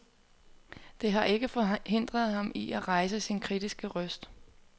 Det har ikke forhindret ham i at rejse sin kritiske røst.